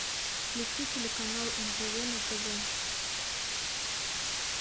включи телеканал нтв на тв